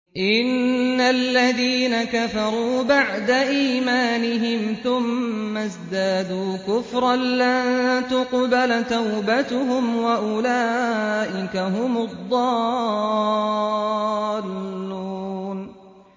إِنَّ الَّذِينَ كَفَرُوا بَعْدَ إِيمَانِهِمْ ثُمَّ ازْدَادُوا كُفْرًا لَّن تُقْبَلَ تَوْبَتُهُمْ وَأُولَٰئِكَ هُمُ الضَّالُّونَ